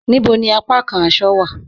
Níbò ni àpàkàn àṣọ̀ wa?